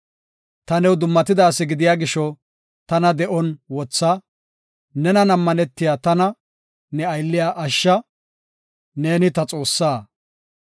Ta new dummatida asi gidiya gisho, tana de7on wotha; nenan ammanetiya tana, ne aylliya ashsha; neeni ta Xoossa.